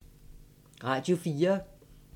Radio 4